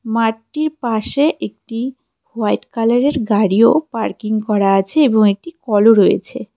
মাঠটির পাশে একটি হোয়াইট কালারের গাড়িও পার্কিং করা আছে এবং একটি কলও রয়েছে.